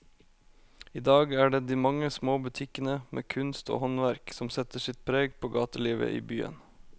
I dag er det de mange små butikkene med kunst og håndverk som setter sitt preg på gatelivet i byen.